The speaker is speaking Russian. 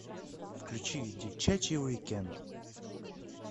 включи девчачий уикенд